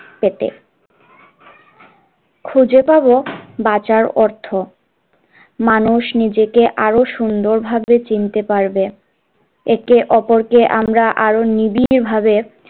পেতে খুঁজে পাবো বাঁচার অর্থ মানুষ নিজেকে আরো সুন্দরভাবে চিনতে পারবে একে অপর কে আমরা আরো নিবিড় ভাবে,